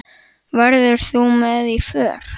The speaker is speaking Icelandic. Verður þú með í för?